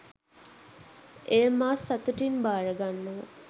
එය මා සතුටින් භාරගන්නවා.